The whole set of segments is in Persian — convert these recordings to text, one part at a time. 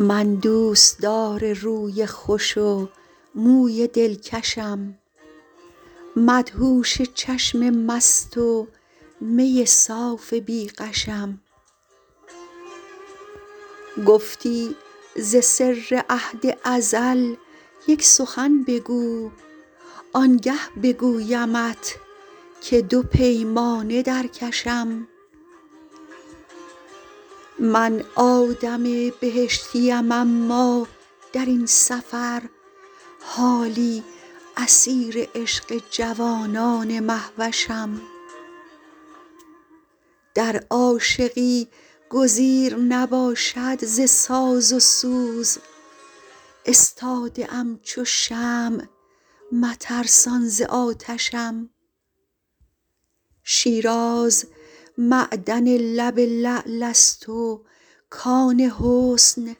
من دوستدار روی خوش و موی دلکشم مدهوش چشم مست و می صاف بی غشم گفتی ز سر عهد ازل یک سخن بگو آنگه بگویمت که دو پیمانه در کشم من آدم بهشتیم اما در این سفر حالی اسیر عشق جوانان مهوشم در عاشقی گزیر نباشد ز ساز و سوز استاده ام چو شمع مترسان ز آتشم شیراز معدن لب لعل است و کان حسن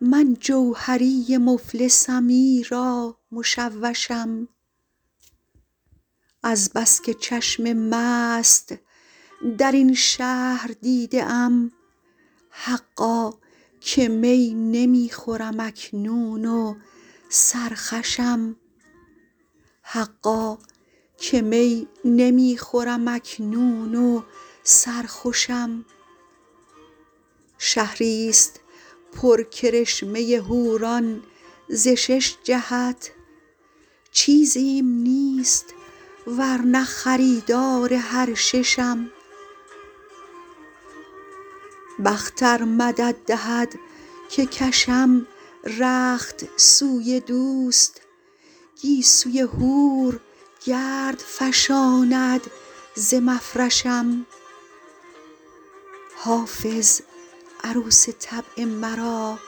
من جوهری مفلسم ایرا مشوشم از بس که چشم مست در این شهر دیده ام حقا که می نمی خورم اکنون و سرخوشم شهریست پر کرشمه حوران ز شش جهت چیزیم نیست ور نه خریدار هر ششم بخت ار مدد دهد که کشم رخت سوی دوست گیسوی حور گرد فشاند ز مفرشم حافظ عروس طبع مرا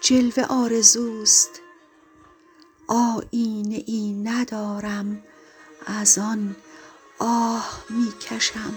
جلوه آرزوست آیینه ای ندارم از آن آه می کشم